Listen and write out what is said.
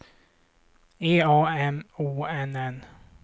E A M O N N